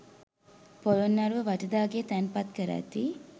පොළොන්නරුව වටදාගේ තැන්පත් කර ඇති